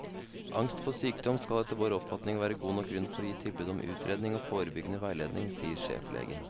Angst for sykdom skal etter vår oppfatning være god nok grunn for å gi tilbud om utredning og forebyggende veiledning, sier sjeflegen.